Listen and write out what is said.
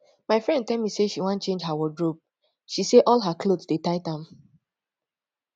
my friend tell me say she wan change her wardrobe she say all her cloth dey tight am